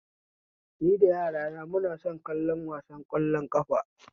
Ni da yarana muna son kallo wasan ƙwallon ƙafa